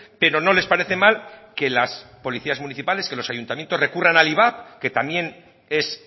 pero no les parece mal que las policías municipales que los ayuntamientos recurran al ivap que también es